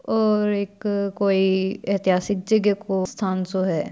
ओ एक कोई ऐतिहासिक जगह को स्थान सो हैं।